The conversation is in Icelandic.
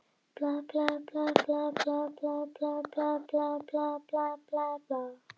Þegar mæður þeirra hrópuðu á þá í matinn röltu þeir ánægðir heim.